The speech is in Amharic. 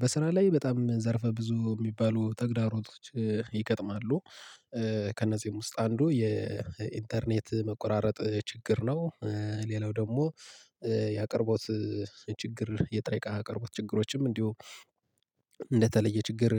በስራ ላይ በጣም ዘርፈ ብዙ የሚባሉ ተግዳሮቶች ይገጥማሉ። ከእነዚህም ውስጥ አንዱ የኢንተርኔት መቆራረጥ ችግር ነው። ሌላው ደግሞ ያቅርቦት ችግር የጥሬ እቃ አቅርቦት ችግሮችም እንዲሁ እንደተለየ ችግር።